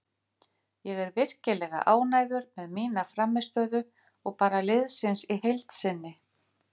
Ég er virkilega ánægður með mína frammistöðu og bara liðsins í heild sinni.